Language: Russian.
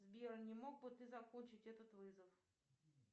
сбер не мог бы ты закончить этот вызов